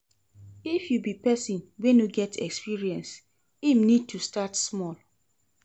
If you be persin wey no get experience im need to start small